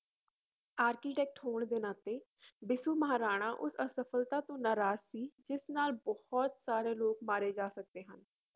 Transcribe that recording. Architect ਹੋਣ ਦੇ ਨਾਤੇ ਬਿਸੂ ਮਹਾਰਾਣਾ ਉਸ ਅਸਫਲਤਾ ਤੋਂ ਨਾਰਾਜ਼ ਸੀ ਜਿਸ ਨਾਲ ਬਹੁਤ ਸਾਰੇ ਲੋਕ ਮਾਰੇ ਜਾ ਸਕਦੇ ਹਨ।